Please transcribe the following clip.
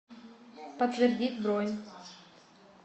подтвердить бронь